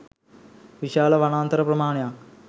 විශාල වනාන්තර ප්‍රමාණයක්